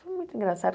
Foi muito engraçado.